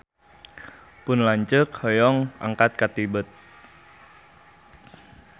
Pun lanceuk hoyong angkat ka Tibet